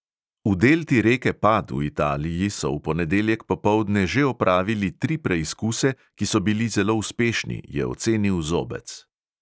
V delti reke pad v italiji so v ponedeljek popoldne že opravili tri preizkuse, ki so bili zelo uspešni, je ocenil zobec.